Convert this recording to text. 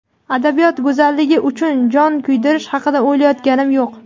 adabiyot go‘zalligi uchun jon kuydirish haqida o‘ylayotganim yo‘q.